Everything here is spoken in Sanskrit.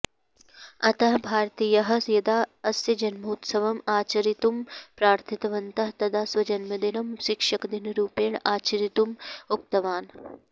अतः भारतीयाः यदा अस्य जन्मोत्सवम् आचरितुं प्रार्थितवन्तः तदा स्वजन्मदिनं शिक्षकदिनरुपेण आचरितुम् उक्तवान्